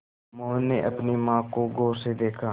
मोहन ने अपनी माँ को गौर से देखा